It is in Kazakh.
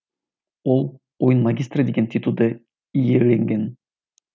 ол ойын магистрі деген титулды иеленген